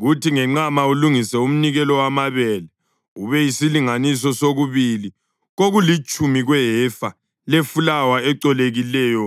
Kuthi ngenqama ulungise umnikelo wamabele ube yisilinganiso sokubili kokulitshumi kwehefa lefulawa ecolekileyo